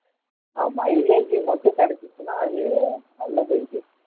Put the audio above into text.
ஆஹ் mileage மட்டும் கிடைச்சுச்சுன்னா அது நல்ல bike உ